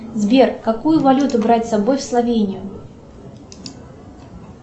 сбер какую валюту брать с собой в словению